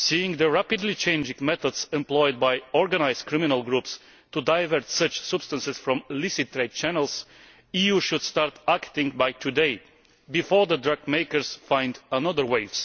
the rapidly changing methods employed by organised criminal groups to divert such substances from licit trade channels, the EU should start acting as of today, before the drug makers find another way.